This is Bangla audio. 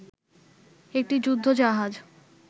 একটি যুদ্ধ জাহাজ